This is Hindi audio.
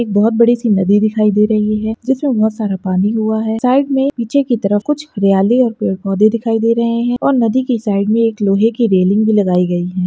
एक बहुत बड़ीसी नदी दिखाई दे रही है जिसमे बहुत सारा पानी हुआ है साइड मे नीछे की तरफ़ कुछ हरियाली और पेड़ पौधे दिखाई दे रहे है और नदी की साइड मे एक लोहे की रेल्लिंग भी लगाई गयी है।